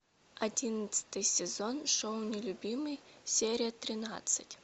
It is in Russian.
одиннадцатый сезон шоу нелюбимый серия тринадцать